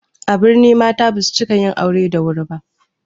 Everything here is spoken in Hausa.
A birni mata basu cika yin aure da wuri ba